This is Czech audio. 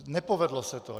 Nepovedlo se to.